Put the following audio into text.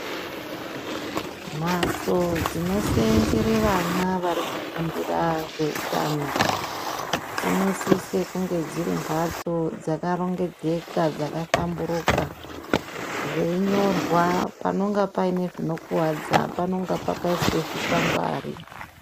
Mhatso dzinoseenzere vana varikufundira zveutano dzinosise kunge dziri mbatso dzakarongedzeka dzakahlamburuka zveinyorwa panonga pane zvinokuwadza panenge pakaiswa zvikwangwari.